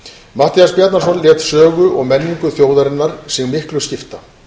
matthías bjarnason lét sögu og menningu þjóðarinnar sig miklu skipta